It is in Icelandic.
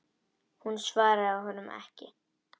Hún svaraði honum ekki.